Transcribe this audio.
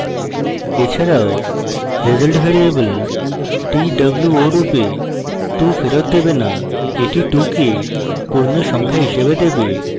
এছাড়াও result variable two রূপে 2 ফেরৎ দেবে না এটি 2 কে পূর্ণসংখ্যা হিসাবে দেবে